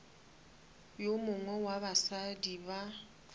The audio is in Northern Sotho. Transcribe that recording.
yo mongwe wa basadi ba